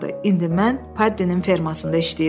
İndi mən Paddinin fermasında işləyirəm.